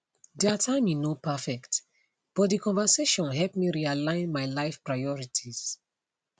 their timing no perfect but the conversation help me realign my life priorities